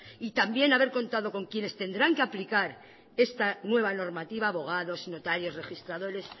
y también haber contado con quienes tendrán que aplicar esta nueva normativa abogados notarios registradores